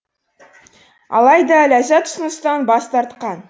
алайда ләззат ұсыныстан бас тартқан